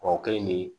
Kɔrɔkɛ in de